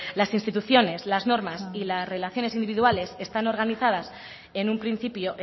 las instituciones las normas y las relaciones individuales están organizadas en un principio